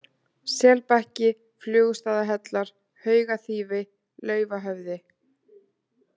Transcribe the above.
Selbakki, Flugustaðahellar, Haugaþýfi, Laufhöfði